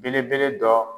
Belebele dɔ